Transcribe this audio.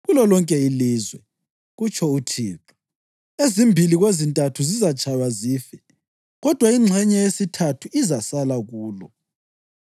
Kulolonke ilizwe,” kutsho uThixo, “ezimbili kwezintathu zizatshaywa zife; kodwa ingxenye yesithathu izasala kulo.